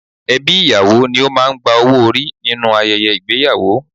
Ẹbí ìyàwó ni ó má́a ń gba owó orí nínú ayẹyẹ ìgbéyàwó